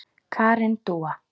Karen Dúa.